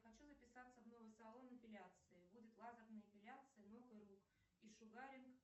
хочу записаться в новый салон эпиляции будет лазерная эпиляция ног и рук и шугаринг